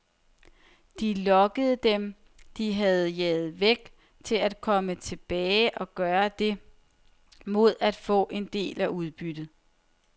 De lokkede dem, de havde jaget væk, til at komme tilbage og gøre det, mod at få en del af udbyttet.